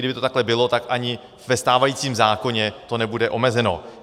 Kdyby to takhle bylo, tak ani ve stávajícím zákoně to nebude omezeno.